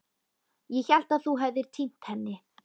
Ég hélt að þú hefðir týnt henni.